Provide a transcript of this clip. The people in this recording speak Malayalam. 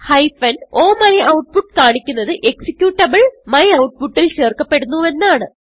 o മ്യൂട്ട്പുട്ട് കാണിക്കുന്നത് എക്സിക്യൂട്ടബിൾ myoutputൽചേർക്കപെടുന്നുവെന്നാണ്